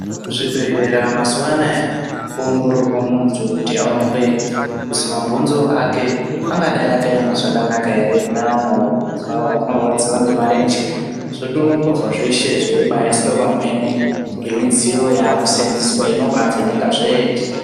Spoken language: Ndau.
Kuzvibhedhelra mazuwaanaya kwoongororwa munthu kuti aonekwe kuzi mabhonzo ake angadai akema zvakanaka ere kune avo vanorwadziwa nemarenje zvoongororwa zveshe zveiiswe pamhene ngemodziyo yaakusenzwese inobaavheneka zveeshe.